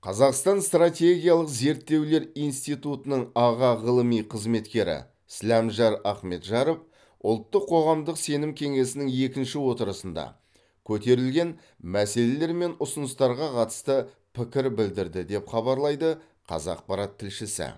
қазақстан стратегиялық зерттеулер институтының аға ғылыми қызметкері сіләмжар ахметжаров ұлттық қоғамдық сенім кеңесінің екінші отырысында көтерілген мәселелер мен ұсыныстарға қатысты пікір білдірді деп хабарлайды қазақпарат тілшісі